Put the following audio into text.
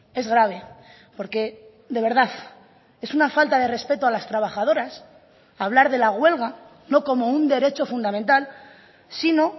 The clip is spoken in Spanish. es grave porque de verdad es una falta de respeto a las trabajadoras hablar de la huelga no como un derecho fundamental sino